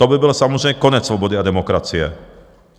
To by byl samozřejmě konec svobody a demokracie.